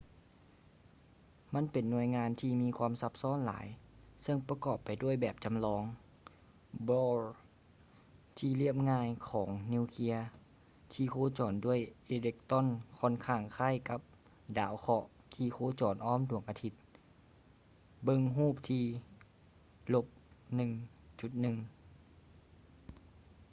ມັນເປັນໜ່ວຍງານທີ່ມີຄວາມຊັບຊ້ອນຫຼາຍເຊິ່ງປະກອບໄປດ້ວຍແບບຈໍາລອງ bohr ທີ່ລຽບງ່າຍຂອງນິວເຄຍທີ່ໂຄຈອນດ້ວຍອີເລັກຕຣອນຂ້ອນຂ້າງຄ້າຍກັບດາວເຄາະທີ່ໂຄຈອນອ້ອມດວງອາທິດ ເບິ່ງຮູບທີ່ - 1.1